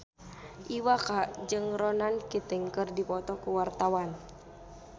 Iwa K jeung Ronan Keating keur dipoto ku wartawan